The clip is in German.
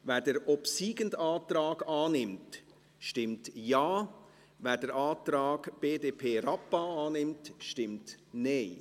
Wer den obsiegenden Antrag annimmt, stimmt Ja, wer den Antrag BDP/Rappa annimmt, stimmt Nein.